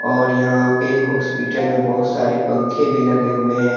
और यहां पे हॉस्पिटल मे बहुत सारे पंखे भी लगे हुएं हैं।